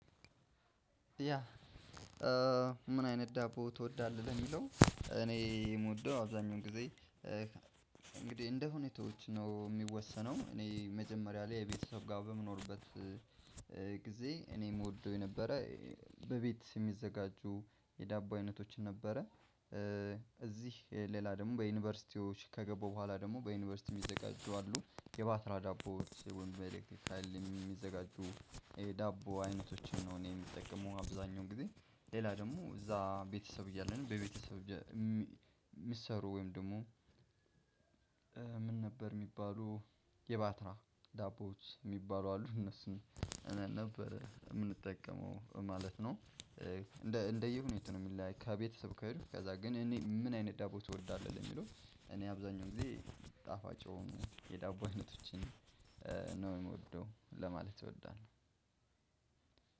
ያ? ምን አይነት ዳቦ ትወዳለህ የሚለው እኔ የምወደው አብዛኛው ጊዜ። እንግዲህ እንደ ሁኔታዎች ነው የሚወሰነው። እኔ መጀመሪያ ላይ የቤተሰብ ጋር በምኖርበት። ጊዜ እኔ የምወደው የነበረ በቤት የሚዘጋጁ የዳቦ አይነቶችን ነበረ። እዚህ ሌላ ደግሞ በዩኒቨርሲቲዎች ከገባሁ በኋላ ደግሞ በዩኒቨርሲቲዎች የሚዘጋጁ አሉ የባትራ ዳቦዎች ወንበር ኤሌ አይልም የሚዘጋጁ ዳቦ አይነቶችን ነው። እኔ የምጠቀመው አብዛኛው ጊዜ ሌላ ደግሞ እዛ ቤተሰብ እያለን በቤተሰብ የሚሰሩ ወይም ደግሞ? ምን ነበር የሚባሉ የባትራ ዳቦዎች የሚባሉ አሉ እነሱን ነበር የምንጠቀመው ማለት ነው። እንደየሁኔታው ነው የሚለያይ። ከቤተሰብ ከሄዱ ከዛ ግን እኔ ምን አይነት ዳቦ ትወዳለህ? የሚለው እኔ አብዛኛው ጊዜ ጣፋጭ የሆኑ የዳቦ አይነቶችን ነው የምወደው ለማለት እወዳለሁ።